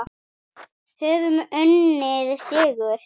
Höfum unnið sigur.